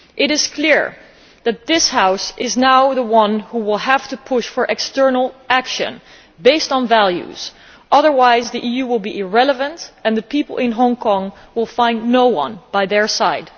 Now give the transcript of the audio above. It is clear that this House is now the one that will have to push for external action based on values, otherwise the EU will be irrelevant and the people in Hong Kong will find no one by their side.